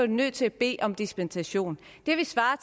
de nødt til at bede om dispensation det ville svare